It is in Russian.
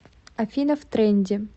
афина в тренде